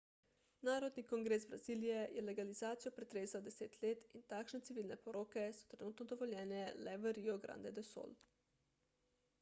narodni kongres brazilije je legalizacijo pretresal 10 let in takšne civilne poroke so trenutno dovoljene le v rio grande do sul